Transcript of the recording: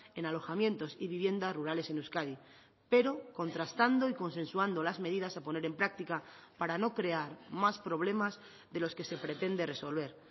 en alojamientos y viviendas rurales en euskadi pero contrastando y consensuando las medidas a poner en práctica para no crear más problemas de los que se pretende resolver